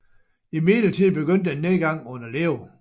Imidlertid begyndte en nedgang under Leo